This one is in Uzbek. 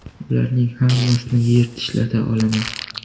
Ularning hammasini yer tishlata olaman.